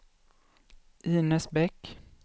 Inez Bäck